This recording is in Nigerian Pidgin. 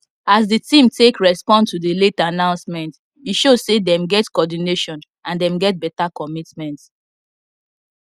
as the team take respond to the late announcement e show say them get coordination and them get better commitment